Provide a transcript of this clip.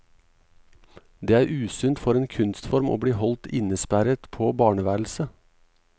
Det er usunnt for en kunstform å bli holdt innesperret på barneværelset.